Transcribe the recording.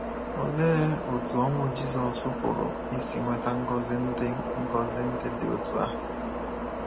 Olee otú ọnwụ Jizọs pụrụ isi weta ngọzi ndị ngọzi ndị dị otú ahụ?